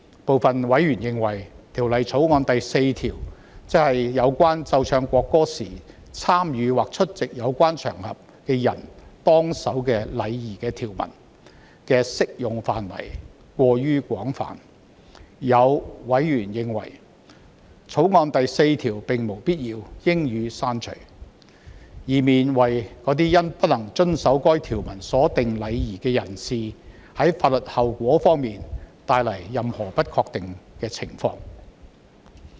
部分委員認為，《條例草案》第4條，即有關奏唱國歌時參與或出席有關場合的人當守的禮儀的條文的適用範圍過於廣泛，也有委員認為，《條例草案》第4條並無必要，應予刪除，以免為未能遵守該條文所訂禮儀的法律後果帶來任何不確定的情況。